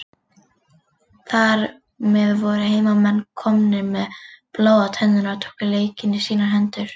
Þar með voru heimamenn komnir með blóð á tennurnar og tóku leikinn í sínar hendur.